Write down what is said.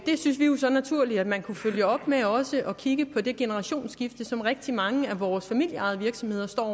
synes vi jo så naturligt at man kunne følge op med også at kigge på det generationsskifte som rigtig mange af vores familieejede virksomheder står